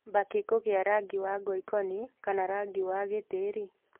Mbakĩ kũgĩa rangi wa ngoikoni kana rangi wa gĩtĩĩri